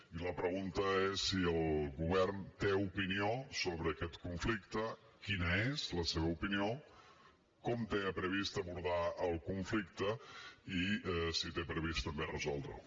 i la pregunta és si el govern té opinió sobre aquest conflicte quina és la seva opinió com té previst abordar el conflicte i si té previst també resoldre’l